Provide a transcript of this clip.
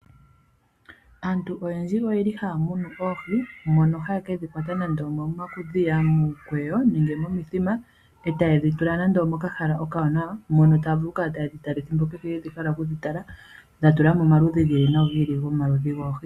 Aantu oyendji otaya munu oohi ndhoka haye dhi kwata muudhiya, miikweyo noshowo momithima, oha ye dhi tula mehala ewanawa moka haya kala taye dhi tala ehimbo kehe ya hala okudhitala , ohaya tula mo omaludhi goohi ga yooloka.